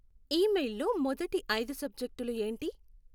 ఈమెయిల్లో మొదటి ఐదు సబ్జెక్టులు ఏంటి?